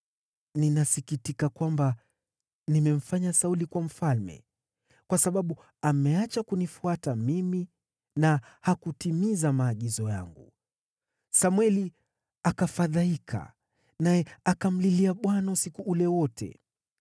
“Ninasikitika kwamba nimemfanya Sauli kuwa mfalme, kwa sababu ameacha kunifuata mimi na hakutimiza maagizo yangu.” Samweli akafadhaika, naye akamlilia Bwana usiku ule wote.